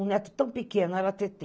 Um neto tão pequeno era a Tetê.